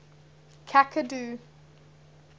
cacadu